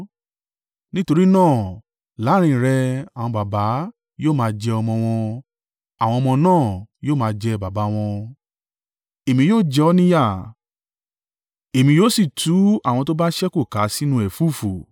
Nítorí náà láàrín rẹ àwọn baba yóò máa jẹ ọmọ wọn, àwọn ọmọ náà yóò máa jẹ baba wọn. Èmi yóò jẹ ọ́ ní yà, èmi yóò sì tú àwọn tó bá ṣẹ́kù ká sínú ẹ̀fúùfù.